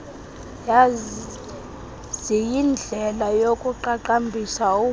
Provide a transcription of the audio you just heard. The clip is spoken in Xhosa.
ziyindlela yokuqaqambisa ubunto